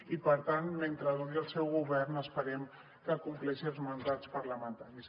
i per tant mentre duri el seu govern esperem que compleixi els mandats parlamentaris